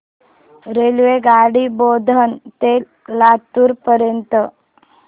रेल्वेगाडी बोधन ते लातूर पर्यंत